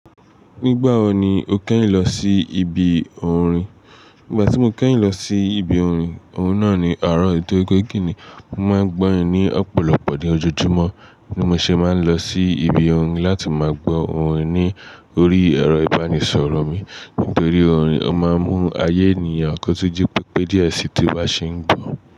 Nígbà wo ni o kẹ́yìn lọ sí ibi orin? Nígbà tí mo kẹ́yìn lọ sí ibi orin, ohun náà ni àárọ̀ tó pè ke ni. Mo máa ń gbọ́ orin ní ọ̀pọ̀lọpọ̀ ni ojoojúmọ́ bí mo ṣe máa ń lọ sí ibi orin láti máa gbọ́ orin ní orí ẹ̀rọ-ìbánisọ̀rọ̀ mi. Nítorí orin o máa ń mú ayé ènìyàn kọ̀tú jí pé di ẹ sí tí bá ṣe ń gbọ̀.